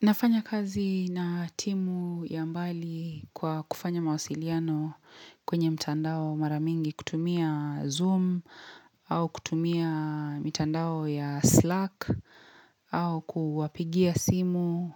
Nafanya kazi na timu ya mbali kwa kufanya mawasiliano kwenye mtandao maramingi kutumia Zoom au kutumia mtandao ya Slack au kuwapigia simu.